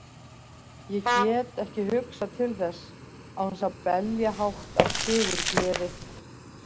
Ég get ekki hugsað til þess án þess að belja hátt af sigurgleði.